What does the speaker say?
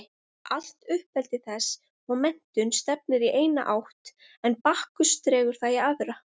Allt uppeldi þess og menntun stefnir í eina átt en Bakkus dregur það í aðra.